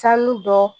Sanu dɔ